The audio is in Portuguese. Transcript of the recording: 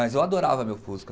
Mas eu adorava meu Fusca.